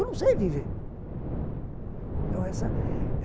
Eu não sei viver, então essa